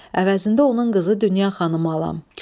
Əvəzində onun qızı Dünya xanımı alam.